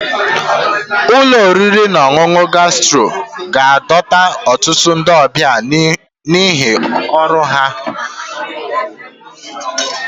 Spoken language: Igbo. Ụlọ oriri na ọṅụṅụ Gastro ga-adọta ọtụtụ ndị ọbịa n'ihi ọrụ ha dị ọnụ ala pụrụ iche